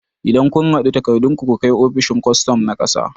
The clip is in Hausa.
Idan kun haɗo takardun ku, ku kai ofishin kwastom na ƙasa